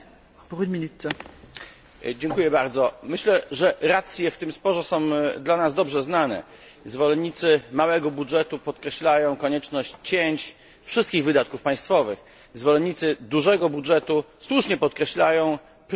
Myślę, że racje w tym sporze są dla nas dobrze znane zwolennicy małego budżetu podkreślają konieczność cięć wszystkich wydatków państwowych, zwolennicy dużego budżetu słusznie podkreślają prorozwojowy charakter tych wydatków dla całej Europy.